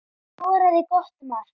Skoraði gott mark.